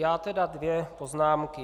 Já tedy dvě poznámky.